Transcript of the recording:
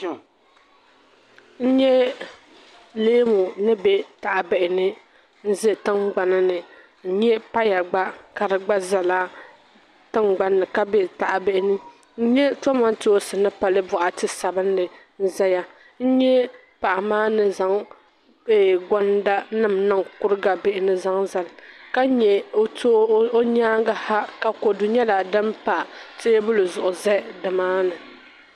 N nyɛ leemuni. be tahibihini nʒɛ tingbani n nyɛ paya gba kadigba ʒɛtingbanni Kabe tahibini n nyɛ kamantoonsi ni pali bɔkati sabinli n zaya n nyɛ paɣi maa ni zaŋ gonda nim n. niŋ kuriga bihini n-zaŋ zali ka nyɛ ɔ nyaaŋgiha ka kodu nyala din pa teebuli zuɣu dini maani.